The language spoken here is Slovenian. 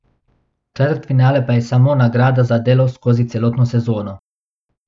Četrtfinale pa je samo nagrada za delo skozi celotno sezono.